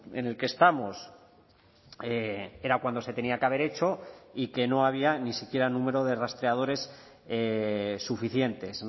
en el que estamos era cuando se tenía que haber hecho y que no había ni siquiera número de rastreadores suficientes